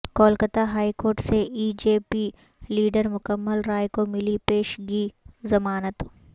Kolkata high court سے B J P leader Mukul Roy کو ملی پیش گی ضمانت